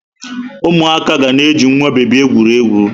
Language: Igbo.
Ụmụaka ga na-eji nwa bebi egwuri egwu.